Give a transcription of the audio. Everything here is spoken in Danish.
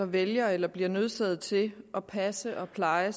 vælger eller bliver nødsaget til at passe og pleje